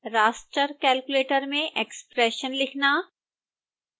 raster calculator में expression लिखना